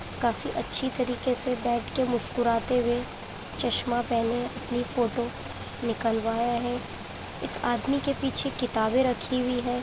काफी अच्छी तरीके से बैठ के मुस्कुराते हुए चश्मा पहने अपनी फोटो निकलवाया है। इस आदमी के पीछे किताबे रखी है।